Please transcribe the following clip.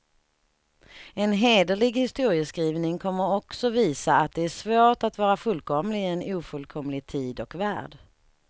En hederlig historieskrivning kommer också visa, att det är svårt att vara fullkomlig i en ofullkomlig tid och värld.